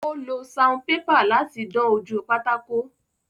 Ó lo saunpépà láti dán ojú pátákó.